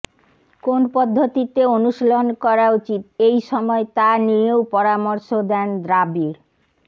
কোন পদ্ধতিতে অনুশীলন করা উচিত এই সময় তা নিয়েও পরামর্শ দেন দ্রাবিড়